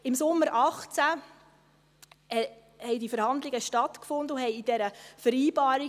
Im Sommer 2018 fanden diese Verhandlungen statt und endeten in dieser Vereinbarung.